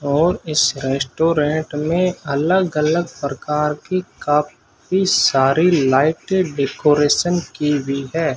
और इस रेस्टोरेंट में अलग अलग प्रकार की काफी सारी लाइटें डेकोरेशन की हुई है।